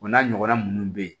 O n'a ɲɔgɔnna ninnu bɛ ye